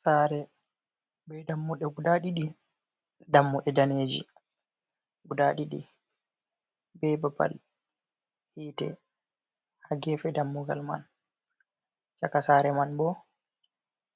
Sare ɓe dammuɗe guda ɗiɗi, dammuɗe daneji guda ɗiɗi ɓe babal hite ha gefe dammugal man, chaka sare man bo